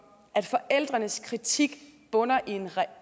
at forældrenes kritik bunder i en